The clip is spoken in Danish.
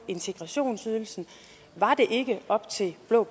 integrationsydelsen var det ikke op til blå